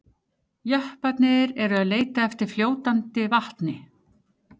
Jepparnir eru ekki að leita eftir fljótandi vatni.